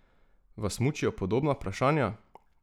Vas mučijo podobna vprašanja?